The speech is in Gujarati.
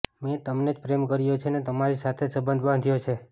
મેં તમને જ પ્રેમ કર્યો છે ને તમારી સાથે જ સંબંધ બાંધ્યો છે